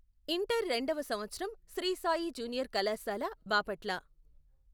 Inter రెండవ సంవత్సరం Shri Sai junior కళాశాల బాపట్ల.